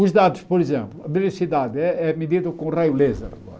Os dados, por exemplo, a velocidade é é medida com raio laser agora.